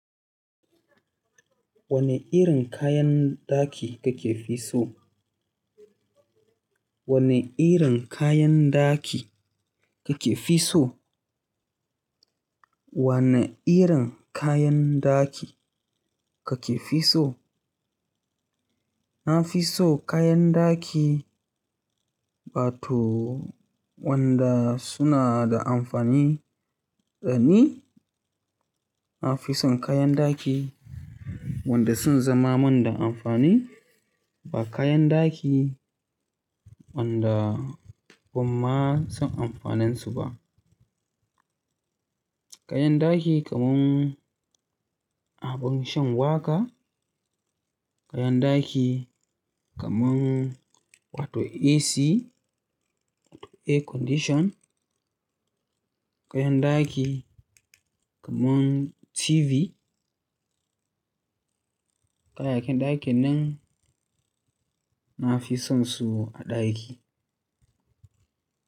Wane irin kayan ɗaki kake fi so? Wane irin kayan ɗaki kake fi so? Wane irin kayan ɗaki kake fi so? Na fi so kayan ɗaki, wato wanda suna da amfani dani. Na fi son kayan ɗaki wanda sun zama mun da amfani ba kayan ɗaki wanda ban ma san amfanin su ba. Kayan ɗaki kamar abun shan waka, kayan ɗaki kamar wato AC, wato air condition, kayan ɗaki kamar TV. Kayayyakin ɗakinnan na fi sonsu a ɗaki.